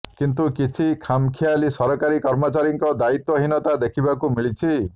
କିନ୍ତୁ କିଛି ଖାମଖିଆଲୀ ସରକାରୀ କର୍ମଚାରୀଙ୍କ ଦାୟିତ୍ୱ ହୀନତା ଦେଖିବାକୁ ମିଳିଛି